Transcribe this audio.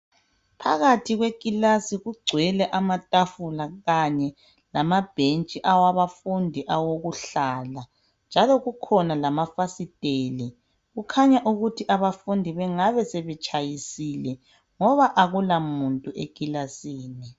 Phakathi kwe kilasi kugcwele amatafula kanye lamabhentshi awabafundi awokuhlala njalo kukhona lamafasiteli. Kukhanya ukuthi abafundi bangabe sebetshayisile ngoba akula muntu ekilasini.